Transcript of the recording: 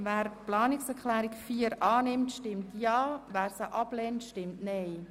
Wer diese annimmt, stimmt Ja, wer diese ablehnt, stimmt Nein.